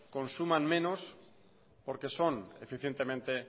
consuman menos porque son eficientemente